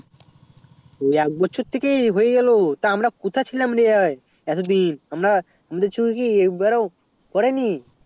হ্যাঁ একবছর থেকে হয়ে গেলো তা আমরা কোথা ছিলাম রে এত দিন আমরা আমাদের চোখে কি এক বারো পরেনি